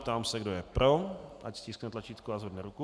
Ptám se, kdo je pro, ať stiskne tlačítko a zvedne ruku.